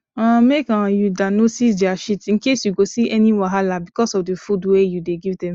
um make um u da notice their shit incase u go see any wahala because of the food wey u the give them